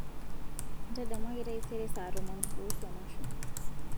ntadamuaki taisere saa tomon kuusu emasho